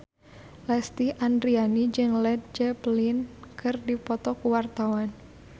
Lesti Andryani jeung Led Zeppelin keur dipoto ku wartawan